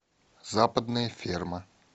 западная ферма